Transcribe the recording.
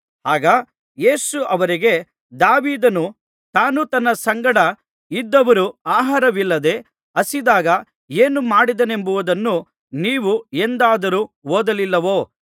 ಆಗ ಯೇಸು ಅವರಿಗೆ ದಾವೀದನು ತಾನೂ ತನ್ನ ಸಂಗಡ ಇದ್ದವರೂ ಆಹಾರವಿಲ್ಲದೆ ಹಸಿದಾಗ ಏನು ಮಾಡಿದನೆಂಬುದನ್ನು ನೀವು ಎಂದಾದರೂ ಓದಲಿಲ್ಲವೋ